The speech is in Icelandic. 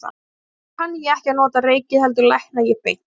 En svo kann ég ekki að nota reikið heldur lækna ég beint.